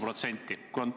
Mitu protsenti?